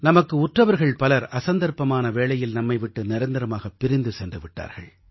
நமக்கு உற்றவர்கள் பலர் அசந்தர்ப்பமான வேளையில் நம்மை விட்டு நிரந்தரமாகப் பிரிந்து சென்று விட்டார்கள்